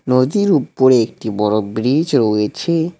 নদীর উপরে একটি বড় ব্রিজ রয়েছে।